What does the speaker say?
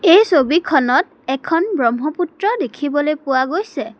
এই ছবিখনত এখন ব্ৰহ্মপুত্ৰ দেখিবলৈ পোৱা গৈছে।